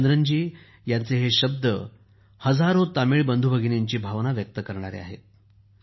जयचंद्रन यांचे हे शब्द हजारो तमिळ बंधूभगिनींची भावना व्यक्त करीत आहेत